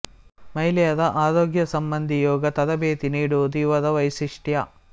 ಮಹಿಳೆಯರ ಆರೋಗ್ಯ ಸಂಬಂಧಿ ಯೋಗ ತರಬೇತಿ ನೀಡುವುದು ಇವರ ವೈಶಿಷ್ಟ್ಯ